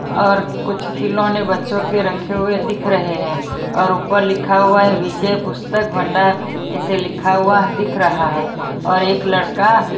और कुछ खिलोने बच्चों के रखे हुए दिख रहे हैं और ऊपर लिखा हुआ हैविजय पुस्तक भंडार ऐसे लिखा हुआ दिख रहा है और एक लड़का--